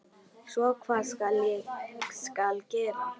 Svo hvað skal gera?